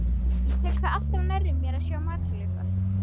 Ég tek það alltaf nærri mér að sjá matarleifar.